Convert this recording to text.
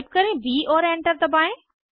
type करें ब और एंटर दबाएं